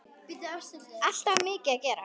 Alltaf mikið að gera.